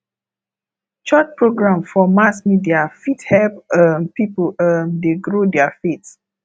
church program for mass media fit help um people um dey grow their faith